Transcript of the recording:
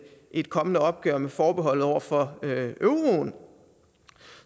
et kommende opgør med forbeholdet over for euroen